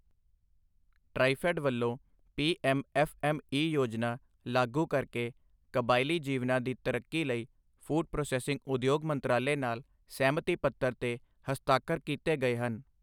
ਟ੍ਰਾਈਫ਼ੈੱਡ ਵੱਲੋਂ P M F M E ਯੋਜਨਾ ਲਾਗੂ ਕਰਕੇ ਕਬਾਇਲੀ ਜੀਵਨਾਂ ਦੀ ਤਰੱਕੀ ਲਈ ਫ਼ੂਡ ਪ੍ਰੋਸੈਸਿੰਗ ਉਦਯੋਗ ਮੰਤਰਾਲੇ ਨਾਲ ਸਹਿਮਤੀ ਪੱਤਰ ਤੇ ਹਸਤਾਖਰ ਕੀਤੇ ਗਏ ਹਨ।